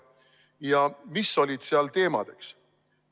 Ja mis olid seal teemadeks?